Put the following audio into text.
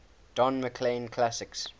don mclean classics